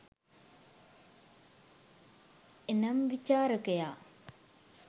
එනම් විචාරකයා